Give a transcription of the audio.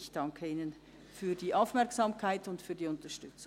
Ich danke Ihnen für die Aufmerksamkeit und die Unterstützung.